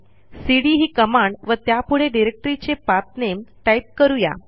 CD ही command व त्यापुढे डिरेक्टरीचे पाठ नामे टाईप करू या